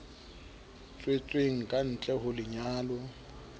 tswetsweng ka ntle ho lenyalo